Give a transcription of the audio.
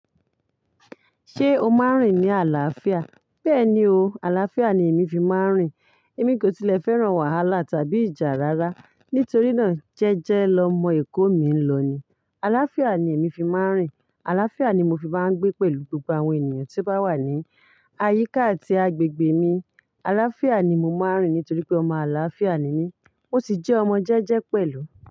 Ṣé o máa ń rìn ní àlàáfíà? Bẹ́ẹ̀ni o, àlàáfíà ni èmi fi máa ń rìn. Èmi kò tilẹ̀ fẹ́ràn wàhálà tàbí ìjà rara. Nítorí náà jẹ́jẹ́ lọ mọ èkó mí ń lọ ni. Àlàáfíà ni èmi fi máa ń rìn. Àlàáfíà ni mo fi máa ń gbé pẹ̀lú gbogbo àwọn ènìyàn tí ó bá wà ní àyíká àti agbègbè mi. Àlàáfíà ni mo máa ń rìn nítorí pé ọmọ àlàáfíà ni mí. Ó sì jẹ́ ọmọ jẹ́jẹ́ pẹ̀lú.